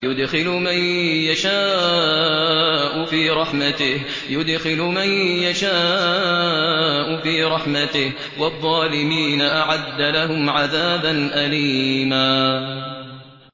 يُدْخِلُ مَن يَشَاءُ فِي رَحْمَتِهِ ۚ وَالظَّالِمِينَ أَعَدَّ لَهُمْ عَذَابًا أَلِيمًا